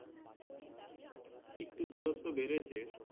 একটু দূরত্ব বেড়েছে